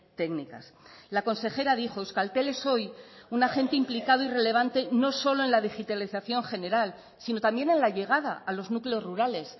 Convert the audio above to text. técnicas la consejera dijo euskaltel es hoy un agente implicado y relevante no solo en la digitalización general sino también en la llegada a los núcleos rurales